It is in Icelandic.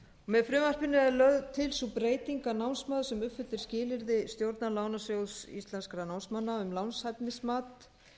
með frumvarpinu er lögð til sú breyting að námsmaður sem uppfyllir skilyrði stjórnar lánasjóðs íslenskra námsmanna um lánshæfismat